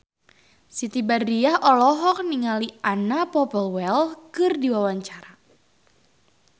Siti Badriah olohok ningali Anna Popplewell keur diwawancara